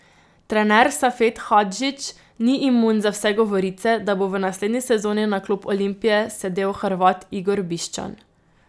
Trener Safet Hadžić ni imun za vse govorice, da bo v naslednji sezoni na klop Olimpije sedel Hrvat Igor Biščan.